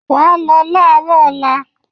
You will go tomorrow morning